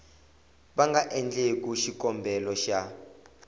va nga endlaku xikombelo xa